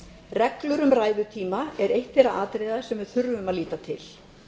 reglur um ræðutíma er eitt þeirra atriða sem við þurfum að líta til